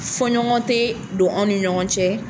Foɲɔgɔn tɛ don an ni ɲɔgɔn cɛ.